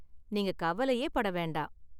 நீங்க கவலையே பட வேண்டாம்.